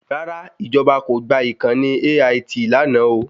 Rárá, ìjọ̀ba kò gba ìkànnì AIT lánàá o